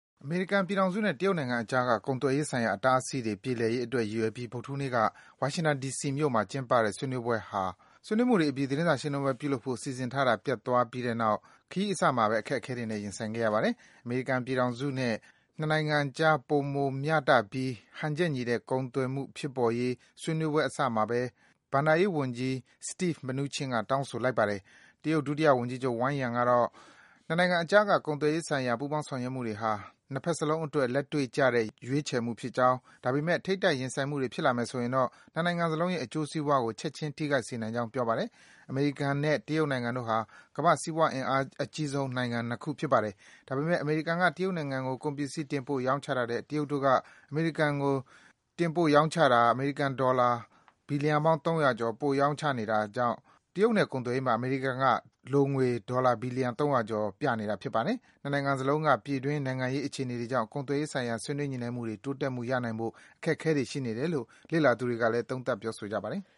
အမေရိကန်ပြည်ထောင်စုနဲ့ တရုတ်နိုင်ငံ အကြားက ကုန်သွယ်ရေးဆိုင်ရာ အတားအဆီးတွေ ပြေလည်ရေး အတွက် ရည်ရွယ်ပြီး ဗုဒ္ဓဟူးနေ့က ဝါရှင်တန် ဒီစီမြို့မှာ ကျင်းပတဲ့ ဆွေးနွေးပွဲဟာ - ဆွေးနွေးမှုတွေ အပြီး သတင်းစာရှင်းလင်းပွဲ ပြုလုပ်ဖို့ စီစဉ်ထားတာ ပျက်သွားတဲ့အတွက် ခရီးအစမှာပဲ အခက်အခဲတွေနဲ့ ရင်ဆိုင်ခဲ့ရပါတယ်။ အမေရိကန်ပြည်ထောင်စုနဲ့ တရုတ်နိုင်ငံအကြားက ပိုမို မျှတပြီး ဟန်ချက်ညီတဲ့ ကုန်သွယ်မှု ဖြစ်ပေါ်ရေး ဆွေးနွေးပွဲ အစမှာပဲ အမေရိကန် ဘဏ္ဍာရေးဝန်ကြီး Steve Mnuchin က တောင်းဆိုလိုက်ပါတယ်။ တရုတ် ဒုတိယဝန်ကြီးချုပ် Wang Yang ကတော့ - နှစ်နိုင်ငံအကြားက ကုန်သွယ်ရေး ဆိုင်ရာ ပူးပေါင်း ဆောင်ရွက်မှုတွေဟာ နှစ်ဘက်စလုံးအတွက် လက်တွေ့ကျတဲ့ ရွေးချယ်မှုဖြစ်ကြောင်း၊ ဒါပေမယ့် ထိပ်တိုက် ရင်ဆိုင်မှုတွေ ဖြစ်လာမယ်ဆိုရင်တော့ နှစ်နိုင်ငံစလုံးရဲ့အကျိုးစီးပွားကို ချက်ခြင်း ထိခိုက်စေနိုင်ကြောင်း ပြောပါတယ်။ အမေရိကန်နဲ့ တရုတ်နိုင်ငံတို့ဟာ ကမ္ဘာ့ စီးပွားအင်အား အကြီးဆုံး နိုင်ငံ ၂ ခု ဖြစ်ပါတယ်။ ဒါပေမယ့် အမေရိကန်က တရုတ်နိုင်ငံကို ကုန်ပစ္စည်း တင်ပို့ ရောင်းချတာထက် တရုတ်တို့က အမေရိကန်ကို အမေရိကန်ဒေါ်လာ ဘီလီယံပေါင်း ၃၀၀ ကျော် ပိုပြီး ရောင်းချနေတာ ဖြစ်ပါတယ်။ ဒါကြောင့်လည်း တရုတ်နဲ့ ကုန်သွယ်ရေးမှာ အမေရိကန်က ဒေါ်လာ ဘီလီယံ ၃၀၀ ကျော် လိုငွေ ပြနေတာပါ။ နှစ်နိုင်ငံစလုံးက ပြည်တွင်း နိုင်ငံရေး အခြေအနေတွေကြောင့် ကုန်သွယ်ရေးဆိုင်ရာ ဆွေးနွေး ညှိနှိုင်းမှုတွေ တိုးတက်မှု ရနိုင်ဖို့ အခက်အခဲတွေ ရှိနေတယ်လို့ လေ့လာသူတွေက သုံးသပ် ပြောဆိုကြပါတယ်။